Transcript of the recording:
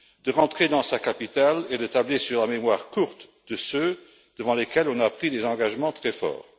de rentrer dans sa capitale et de tabler sur la mémoire courte de ceux devant lesquels on a pris des engagements très forts.